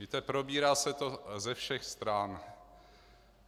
Víte, probírá se to ze všech stran.